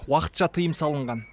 уақытша тыйым салынған